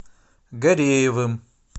гареевым